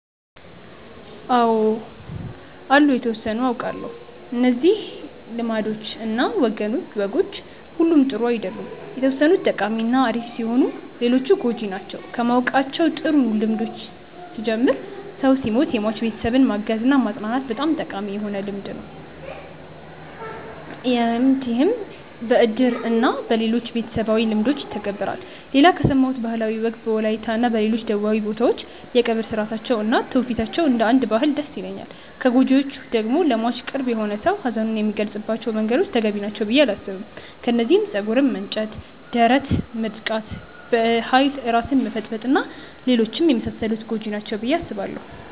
አው አሉ የተወሰኑትን አውቃለው። እነዚህ ልማዶች እና ወጎች ሁሉም ጥሩ አይደሉም የተወሰኑት ጠቃሚ እና አሪፍ ሲሆኑ ሌሎቹ ጎጂ ናቸው። ከማውቃቸው ጥሩ ልምዶች ስጀምር ሰው ሲሞት የሟች ቤተሰብን ማገዝ እና ማፅናናት በጣም ጠቃሚ የሆነ ልምድ ይህም በእድር እና በሌሎችም ቤተሰባዊ ልምዶች ይተገበራል። ሌላ ከሰማሁት ባህላዊ ወግ በወላይታ እና ሌሎች ደቡባዊ ቦታዎች የቀብር ስርአታቸው እና ትውፊታቸው እንደ አንድ ባህል ደስ ይለኛል። ከጎጂዎቹ ደግሞ ለሟች ቅርብ የሆነ ሰው ሀዘኑን የሚገልፀባቸው መንገዶች ተገቢ ናቸው ብዬ አላስብም። ከነዚህም ፀጉር መንጨት፣ ደረት መድቃት፣ በኃይል ራስን መፈጥፈጥ እና ሌሎችም የመሳሰሉት ጎጂ ናቸው ብዬ አስባለው።